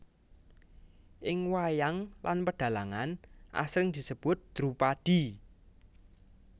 Ing wayang lan pedhalangan asring disebut Drupadi